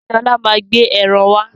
Sọlá máa gbé ẹran wá.